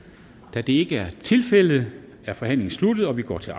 da det ikke er tilfældet er forhandlingen sluttet og vi går til